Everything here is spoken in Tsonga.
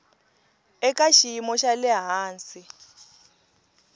eka xiyimo xa le hansi